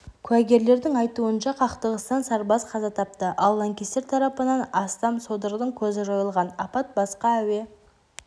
куәгерлердің айтуынша қақтығыстан сарбаз қаза тапты ал лаңкестер тарапынан астам содырдың көзі жойылған апат басқа әуе